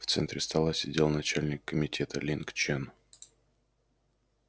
в центре стола сидел начальник комитета линг чен